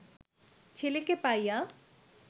ছেলেকে পাইয়া